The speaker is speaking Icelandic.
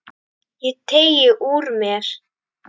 Ég teygði úr mér.